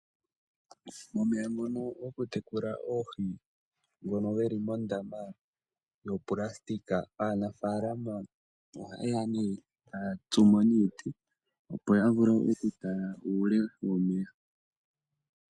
Momeya ngono gokutekula oohi ngono ge li mondaama yopulasitika aanafaalama ohaye ya nduno taya tsumo niiti, opo ya vule okutala uule womeya.